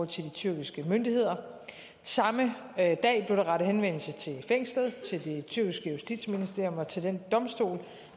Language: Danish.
til de tyrkiske myndigheder samme dag blev der rettet henvendelse til fængslet til det tyrkiske justitsministerium og til den domstol